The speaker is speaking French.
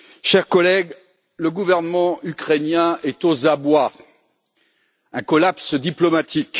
Chers collègues, le gouvernement ukrainien est aux abois un collapse diplomatique.